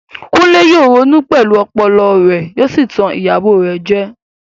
Kunle yóò ronú pẹ̀lú ọpọlọ rẹ̀ yóò sì tan ìyàwó rẹ̀ jẹ.